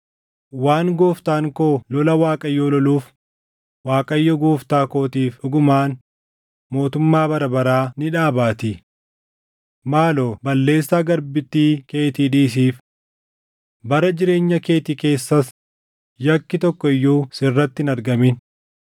“Waan gooftaan koo lola Waaqayyoo loluuf Waaqayyo gooftaa kootiif dhugumaan mootummaa bara baraa ni dhaabaatii. Maaloo balleessaa garbittii keetii dhiisiif. Bara jireenya keetii keessas yakki tokko iyyuu sirratti hin argamin.